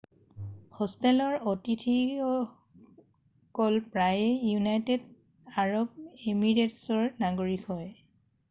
হোষ্টেলৰ অতিথিয়কল প্ৰায়ে ইউনাইটেড আৰব এমিৰেটছৰ নাগৰিক হয়